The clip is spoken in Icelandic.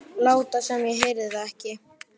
Láta sem ég heyrði það ekki.